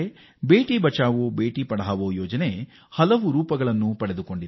ಬೇಟಿ ಬಚಾವೋಬೇಟಿ ಪಡಾವೋ ಅಭಿಯಾನ ಹಲವು ಸ್ವರೂಪ ಪಡೆದಿದೆ